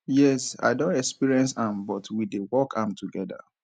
yes i don experience am but we dey work am together